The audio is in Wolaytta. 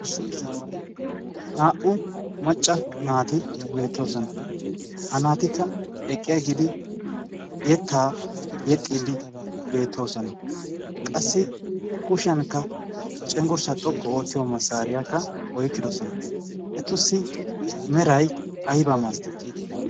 naa''u macca naati beettoosona ha naatikka eqqi agiidi yettaa yexxiidi beettoosona qassi kushiyankka cenggurssa xoqqu oottiyo massaariyaakka oykkidosona etussi meray ayba maasatti